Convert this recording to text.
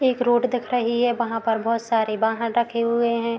एक रोड दिख रही है वहाँ पर बहुत सारे वाहन रखे हुए हैं।